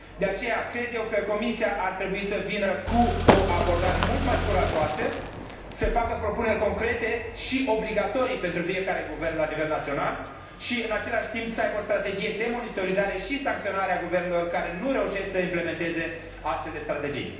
De aceea, cred eu că Comisia ar trebui să vină cu o abordare mult mai curajoasă, să facă propuneri concrete și obligatorii pentru fiecare guvern la nivel național și, în același timp, să aibă o strategie de monitorizare și sancționare a guvernelor care nu reușesc să implementeze astfel de strategii.